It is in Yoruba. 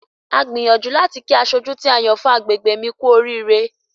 A gbìyànju láti kí asojú tí a yàn fún agbègbè mi kú oríire.